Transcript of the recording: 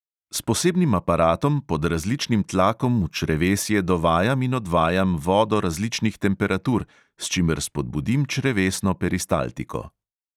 S posebnim aparatom pod različnim tlakom v črevesje dovajam in odvajam vodo različnih temperatur, s čimer spodbudim črevesno peristaltiko.